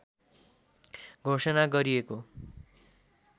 घोषणा गरिएको